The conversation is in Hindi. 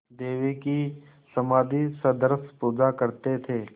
देवी की समाधिसदृश पूजा करते थे